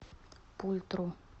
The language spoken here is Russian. пультру